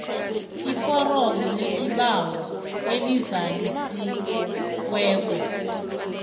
iforomo lesibawo elizalisiweko